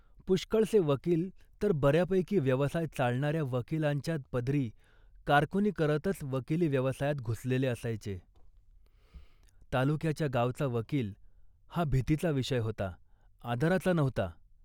पुष्कळसे वकील तर बऱ्यापैकी व्यवसाय चालणाऱ्या वकिलांच्या पदरी कारकुनी करतच वकिली व्यवसायात घुसलेले असायचे. तालुक्याच्या गावचा वकील हा भीतीचा विषय होता, आदराचा नव्हता